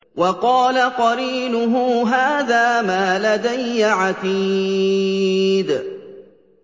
وَقَالَ قَرِينُهُ هَٰذَا مَا لَدَيَّ عَتِيدٌ